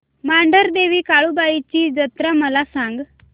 मांढरदेवी काळुबाई ची जत्रा मला सांग